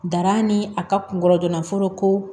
Dara ni a ka kungolo joona fɔlɔ ko